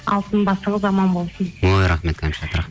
алтын басыңыз аман болсын ой рахмет кәмшат